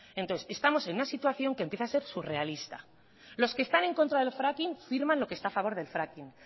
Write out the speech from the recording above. entonces estamos en una situación que empieza a ser surrealista los que están en contra del fracking firman lo que está a favor del fracking